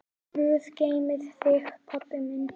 Guð geymi þig, pabbi minn.